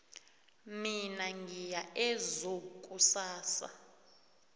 mina ngiya ezoo kusasa